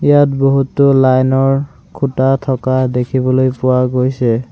ইয়াত বহুতো লাইন ৰ খুঁটা থকা দেখিবলৈ পোৱা গৈছে।